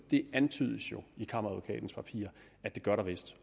det antydes jo i kammeradvokatens papir at det gør der vist